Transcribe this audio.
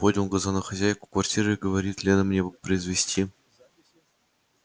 поднял глаза на хозяйку квартиры и говорит лена мне бы произвести